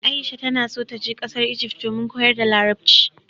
Aisha ta na so ta je ƙasar Ijift domin koyar da larabci